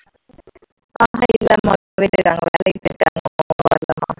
அண்ணா இல்லம்மா போயிருக்காங்க வேலைக்கு போயிட்டாங்க வரல இன்னும்